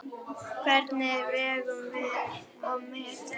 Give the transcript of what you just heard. Hvernig vegum við og metum?